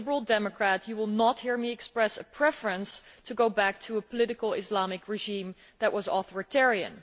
As a Liberal Democrat you will not hear me express a preference for going back to a political Islamic regime that was authoritarian.